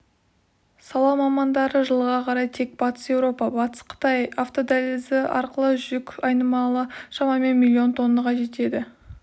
сала мамандары жылға қарай тек батыс еуропа-батыс қытай автодәлізі арқылы жүк айналымы шамамен миллион тоннаға жетеді